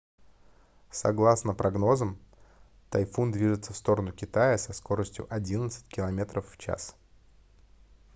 согласно прогнозам тайфун движется в сторону китая со скоростью одиннадцать километров в час